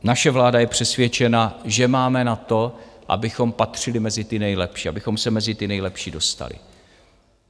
Naše vláda je přesvědčena, že máme na to, abychom patřili mezi ty nejlepší, abychom se mezi ty nejlepší dostali.